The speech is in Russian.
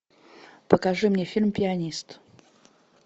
покажи мне фильм пианист